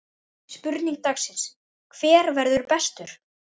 Spurning dagsins: Hver verður bestur?